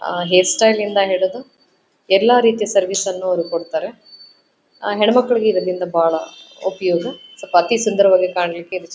ಆ ಹೈರ್ಸ್ಟೈಲ್ ಇಂದ ಹಿಡಿದು ಎಲ್ಲ ರೀತಿಯ ಸರ್ವಿಸ್ ಯನ್ನು ಅವರು ಕೊಡುತ್ತಾರೆ ಹೆಣ್ಣುಮಕ್ಕಳಿಗೆ ಇದರಿಂದ ಬಹಳ ಉಪಯೋಗ ಅತಿ ಸುಂದರವಾಗಿ ಕಾಣಲಿಕೆ --